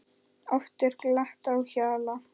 Oft er glatt á hjalla.